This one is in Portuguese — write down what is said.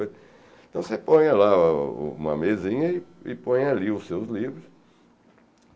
Então você ponha lá uma mesinha e põe ali os seus livros.